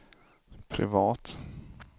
privat